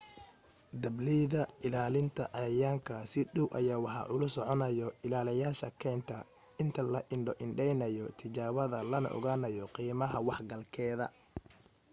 dableyda ilaalinta cayayaanka si dhaw ayaa waxa ula soconayo ilaaliyayaasha keynta inta la indho indheynayo tijaabada lana ogaanayo qiimaha wax galgeeda